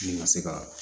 Ne ka se ka